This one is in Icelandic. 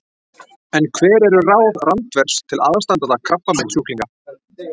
En hver eru ráð Randvers til aðstandanda krabbameinssjúklinga?